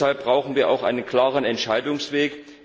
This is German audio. Deshalb brauchen wir auch einen klaren Entscheidungsweg.